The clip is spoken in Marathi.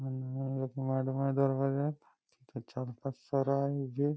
तिथे चार-पाच सर आहे जे--